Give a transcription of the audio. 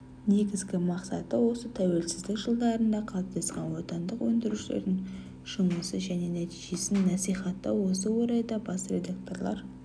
негізгі мақсаты осытәуелсіздік жылдарында қалыптасқан отандық өндірушілердің жұмысын және нәтижесін насиіаттау осы орайда бас редакторлар